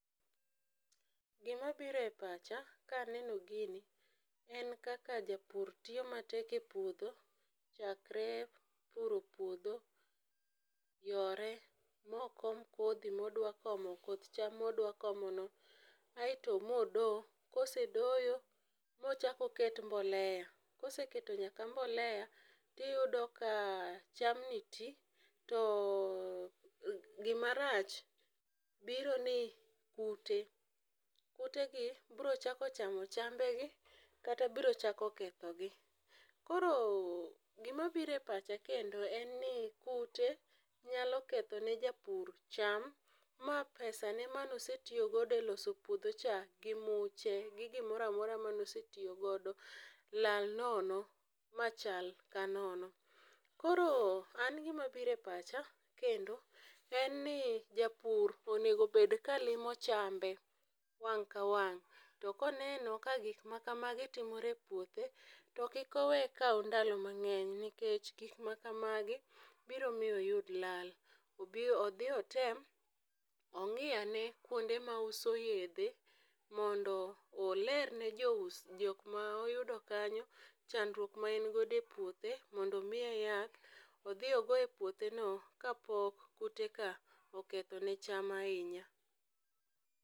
Gimabiro e pacha kaneno gini en kaka japur tiyo matek e puodho chakre puro puodho, yore mokom kodhi modwakomo koth cham modwakomono aeto modo kosedoyo mochako oket mbolea koseketo nyakla mbolea tiyudo ka chamni ti to gimarach biro ni kute. Kutegi brochako chamo chambegi kata brochako kethogi. Koro gimabiro e pacha kendo en ni kute nyalo kethone japur cham ma pesane manosetiyogodo e puodhocha gi muche gi gimoro amora manosetiyogodo lal nono machal ka nono. Koro an gimabiro e pacha kendo en ni japur onego bed ka limo chambe wang' ka wang' to koneno ka gikmakamagi timore e puothe to kik owe kaw ndalo mang'eny nikech gik makamagi biro miyo oyud lal, obi odhi otem ong'i ane kuonde mauso yedhe mondo olerne jokma oyudo kanyo chandruok ma en godo e puothe mondo omiye yath odhi ogo e puotheno kapok kuteka okethone cham ahinya.